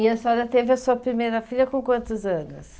E a senhora teve a sua primeira filha com quantos anos?